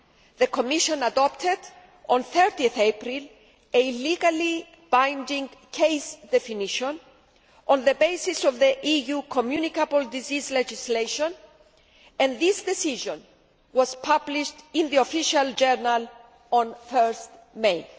The Commission adopted on 30 April a legally binding case definition on the basis of the EU communicable disease legislation, and this decision was published in the Official Journal on 1 May.